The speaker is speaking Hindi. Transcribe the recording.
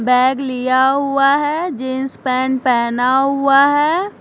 बैग लिया हुआ है जीन्स पेंट पहना हुआ है।